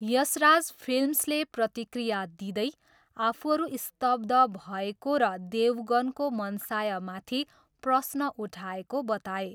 यशराज फिल्म्सले प्रतिक्रिया दिँदै आफूहरू स्तब्ध भएको र देवगनको मनसायमाथि प्रश्न उठाएको बताए।